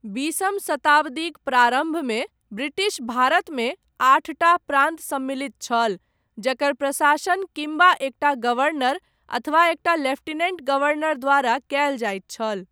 बीसम शताब्दीक प्रारम्भमे, ब्रिटिश भारतमे, आठटा प्रान्त सम्मलित छल, जकर प्रशासन किम्बा एकटा गवर्नर, अथवा एकटा लेफ्टिनेण्ट गवर्नर, द्वारा कयल जाइत छल।